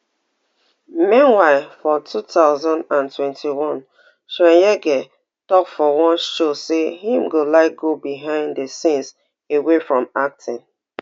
meanwhile for two thousand and twenty-one chweneyagae tok for one show say im go like go behind di scenes away from acting